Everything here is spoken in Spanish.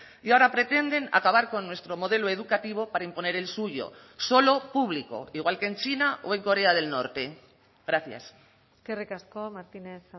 y ahora pretenden acabar con nuestro modelo educativo para imponer el suyo solo público igual que en china o en corea del norte gracias eskerrik asko martínez